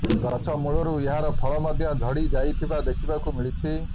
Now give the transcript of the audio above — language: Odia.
ଗଛ ମୂଳରୁ ଏହାର ଫଳ ମଧ୍ୟ ଝଡି ଯାଇଥିବା ଦେଖିବାକୁ ମିଳିଛି